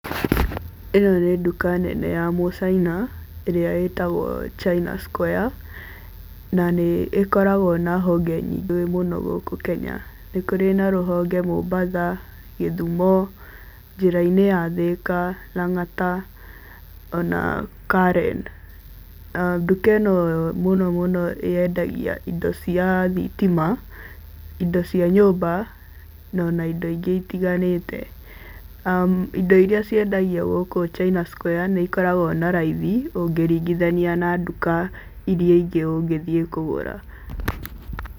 Ĩno nĩ nduka nene ya mũcaina ĩrĩa ĩtagwo China Square na nĩ ĩkoragwo na honge nyingĩ mũno gũkũ Kenya. Nĩ kũrĩ na rũhonge Mombatha, Gĩthumo, njĩra-inĩ ya Thĩka, Lang'ata ona Karen. Nduka ĩno mũno mũno yendagĩa indo cia thitima, indo cia nyumba no ũna indo ĩngĩ ĩtiganĩte. Indo iria ciendagio gũkũ China Square nĩ ĩkoragwo na raithĩ ũngĩringithania na nduka iria ĩngĩ ũngĩthiĩ kũgũra.